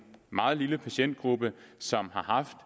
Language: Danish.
meget lille patientgruppe som har haft